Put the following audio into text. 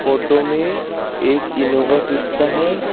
Photo में एक Innova Crysta है।